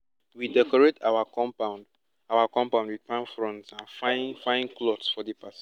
we decorate our compound our compound with palm fronds and fine fine cloths for di party